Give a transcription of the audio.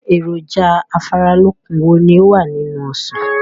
Èròjà afáralókun wo ni ó wà nínú Ọsàn?